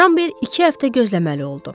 Ramber iki həftə gözləməli oldu.